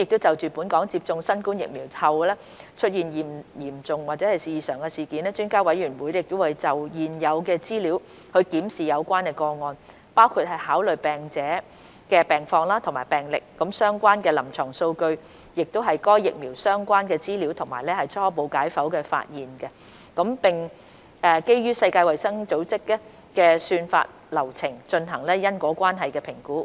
就本港接種新冠疫苗後出現的嚴重異常事件，評估專家委員會會就現有的資料檢視有關個案，包括考慮病者的病況及病歷、相關臨床數據、該疫苗相關的資料及初步解剖發現，並基於世衞的算法流程進行因果關係評估。